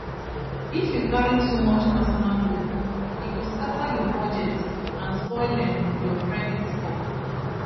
if you carry too much personal loan e go scatter your budget and spoil um your credit score